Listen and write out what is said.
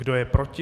Kdo je proti?